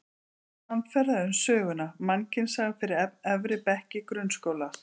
Samferða um söguna: Mannkynssaga fyrir efri bekki grunnskóla.